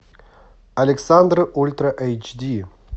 александр ультра эйч ди